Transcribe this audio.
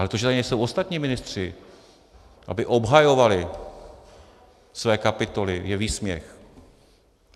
Ale to, že tady nejsou ostatní ministři, aby obhajovali své kapitoly, je výsměch.